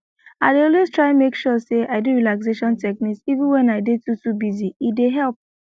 i dey always try make sure say i do relaxation technique even when i dey too too busy e dey help